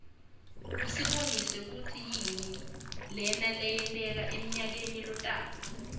usibonisa kutsi yini leta wenteka emnayakeni lotako